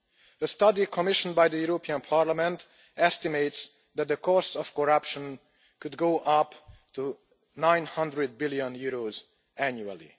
A study commissioned by the European Parliament estimates that the cost of corruption could go up to EUR 900 billion annually.